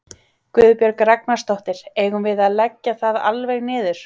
Guðbjörg Ragnarsdóttir: Eigum við að leggja það alveg niður?